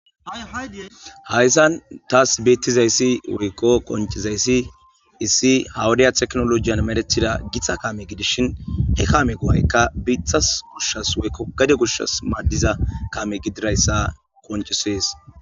Hayzan thaassi beeththizayssi woykko qonccizayssi issi ha wodiya teknoloojiyan mereththida githa kaame gidishin he kaamee go7aykka biiththa goshshas woykko gade goshshas maaddira kaame gidizayssa qonccissees.